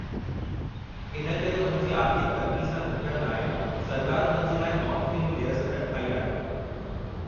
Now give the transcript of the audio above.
इन करे उन्हनि जी आर्थिकु तंगी सां निबटण लाइ सरकार उन्हनि जे लाइ नॉन क्रीमी लेयर सनद ठाई आहे।